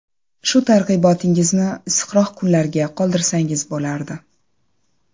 Shu targ‘ibotingizni issiqroq kunlarga qoldirsangiz bo‘lardi.